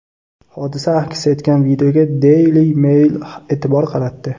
Hodisa aks etgan videoga Daily Mail e’tibor qaratdi .